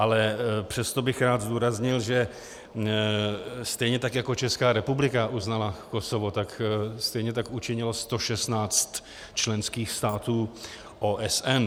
Ale přesto bych rád zdůraznil, že stejně tak jako Česká republika uznala Kosovo, tak stejně tak učinilo 116 členských států OSN.